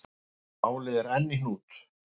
Málið er enn í hnút.